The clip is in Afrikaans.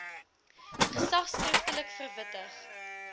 gesag skriftelik verwittig